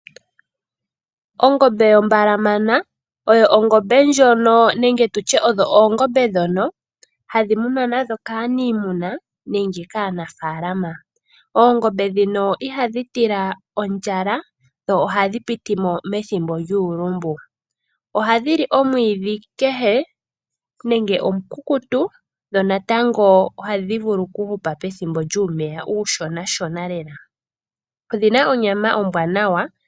Ongombe yombalamana oyo ongombe ndjono nenge tu tye odho oongombe ndhono hadhi munwa nadho kaanimuna nenge kaanafalama. Oongombe ndhino ihadhi tila ondjala dho ohadhi piti mo methimbo lyuulumbu. Ohadhi li omwiidhi kehe nenge omu kukutu. Dho natango ohadhi vulu ku hupa pethimbo lyuumeya uushona shona lela. Odhi na onyama ombwanawa.